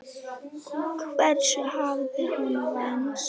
Hvers hafði hann vænst?